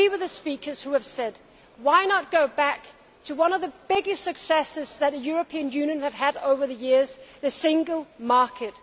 I agree with the speakers who have suggested we go back to one of the biggest successes that the European Union have had over the years the Single Market.